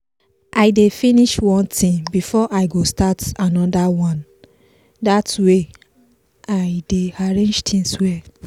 i dey finish one thing before i go start anoder one dat way i dey arrange things well.